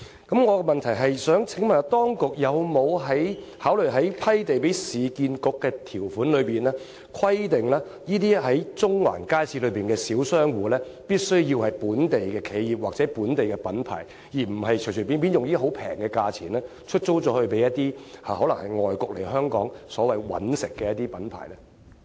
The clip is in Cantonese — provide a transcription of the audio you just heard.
我的問題是，當局有否考慮在批地給市建局的條款中，規定那些在中環街市營運的小商戶必須要是本地企業或本地品牌，而不是隨便用低廉價錢出租給由外國來港"搵食"的品牌？